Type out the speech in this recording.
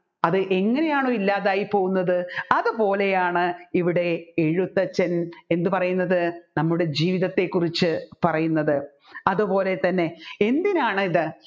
അതെങ്ങനെയാണോ ഇല്ലാതായി പോവുന്നത് അതുപോലെയാണ് ഇവിടെ എഴുത്തച്ഛൻ എന്ത് പറയുന്നത് നമ്മുടെ ജീവിതത്തെ കുറിച്ച് പറയുന്നത് അതുപോലെ തന്നെ എന്തിനാണ് ഇത്